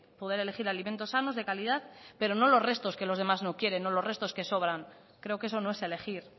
poder elegir alimentos sanos de calidad pero no los restos que los demás no quieren o los restos que sobran creo que eso no es elegir